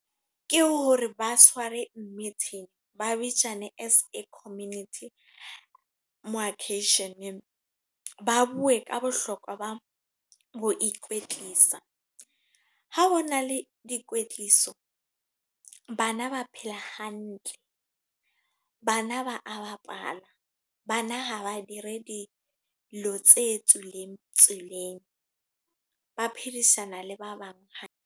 Ke hore ba tshware meeting, ba bitsane as a community. Mo occasion-eng ba bue ka bohlokwa ba ho ikwetlisa. Ha hona le dikwetliso, bana ba phela hantle. Bana ba a bapala, Bana ha ba dire dilo tse tswileng tseleng. Ba phedisana le ba bang.